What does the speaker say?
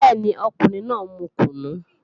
Bẹ́ẹ̀ni, ọkùnrin náà mu kùnú